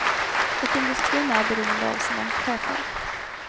Och industrin är beroende av sina chefer.